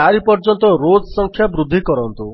4 ପର୍ଯ୍ୟନ୍ତ ରୋଜ୍ ସଂଖ୍ୟା ବୃଦ୍ଧି କରନ୍ତୁ